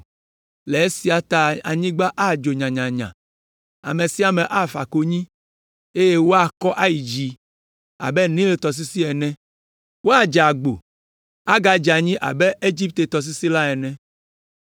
“Le esia ta anyigba adzo nyanyanya, ame sia ame afa konyi, eye woakɔ ayi dzi abe Nil tɔsisi ene. Woadze agbo, agadze anyi abe Egipte tɔsisi la ene.”